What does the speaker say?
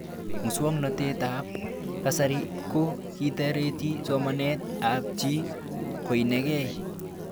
Muswognatet ab kasari ko kitareti somanet ab chii koinegei